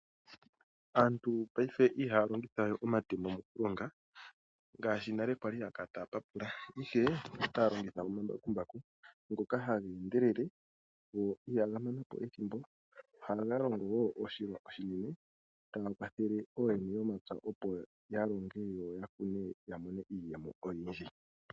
Aantu paife ihaya longithawe omatemo mokulonga ngaashi nale kwali haya kala taya papula , ihe otaya longitha omambakumbaku ngoka haga endelele, go ihaga manapo ethimbo . Ohaga longo oshilwa oshinene, taga kwathele ooyene yomapya opo yalonge, yakune yamone iiyemo oyindji.